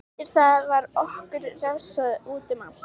Eftir það var okkur refsað útum allt.